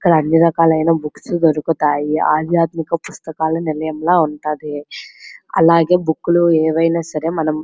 ఇక్కడ అన్ని రకాలైన బుక్స్ దోరుకుతాయి ఆధ్యాత్మిక పుస్తకాల నిలయం లా ఉంటాది అలాగే బుక్కులు ఏవైనా సరే మనం --